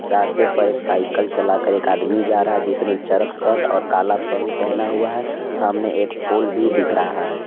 रास्ते पर एक साइकल चलाकर एक आदमी जा रहा है जिसने चरक शर्ट और कला पैंट पहना हुआ है सामने एक पोल भी दिख रहा है।